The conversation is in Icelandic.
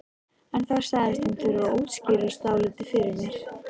En þá sagðist hún þurfa að útskýra dálítið fyrir mér.